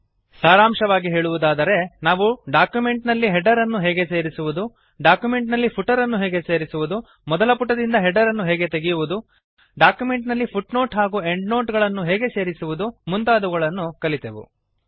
ಸಾರಾಂಶವಾಗಿ ಹೇಳುವುದಾದರೆ ನಾವು ಡಾಕ್ಯುಮೆಂಟ್ ನಲ್ಲಿ ಹೆಡರ್ ಅನ್ನು ಹೇಗೆ ಸೇರಿಸುವುದು ಡಾಕ್ಯುಮೆಂಟ್ ನಲ್ಲಿ ಫುಟರ್ ಅನ್ನು ಹೇಗೆ ಸೇರಿಸುವುದು ಮೊದಲ ಪುಟದಿಂದ ಹೆಡರ್ ಅನ್ನು ಹೇಗೆ ತೆಗೆಯುವುದು ಡಾಕ್ಯುಮೆಂಟ್ ನಲ್ಲಿ ಫುಟ್ನೋಟ್ ಹಾಗೂ ಎಂಡ್ನೋಟ್ ಅನ್ನು ಹೇಗೆ ಸೇರಿಸುವುದು ಮುಂತಾದವುಗಳನ್ನು ಕಲಿತೆವು